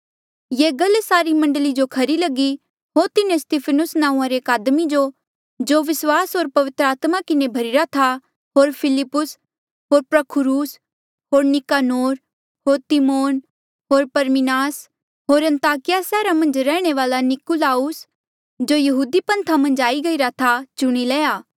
ये गल सारी मंडली जो खरी लगी होर तिन्हें स्तिफनुस नांऊँआं रे एक आदमी जो जो विस्वास होर पवित्र आत्मा किन्हें भर्ही रा था होर फिलिप्पुस होर प्रखुरूस होर निकानोर होर तिमोन होर परमिनास होर अन्ताकिया सैहरा मन्झ रैहणे वाल्आ निकुलाउस जो यहूदी पन्था मन्झ आई गईरा था चुणी लया